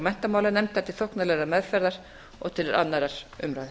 menntamálanefndar til þóknanlegrar meðferðar og til annarrar umræðu